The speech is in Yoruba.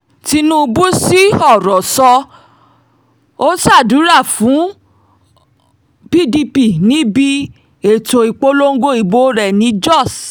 tinubu sí ọ̀rọ̀ sọ ọ́ sádúrà fún pdp níbi ètò ìpolongo ìbò rẹ̀ ní jóṣ